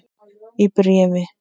Í bréfi